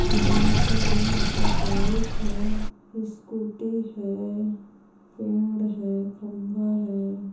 बोहत सारे यंहा पे बाइक है स्कूटी है पेड़ है खंबा है ।